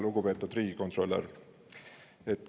Lugupeetud riigikontrolör!